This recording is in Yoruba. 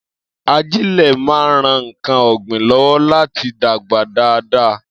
Ajẹ́lẹ̀ máa ń ran ǹkan ọ̀gbìn lọ́wọ́ láti dàgbà dáadáa